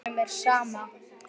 Honum er sama.